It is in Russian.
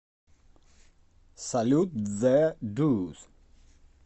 салют зэ дорс